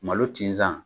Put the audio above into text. Malo tinsan